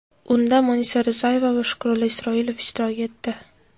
Unda Munisa Rizayeva va Shukrullo Isroilov ishtirok etdi.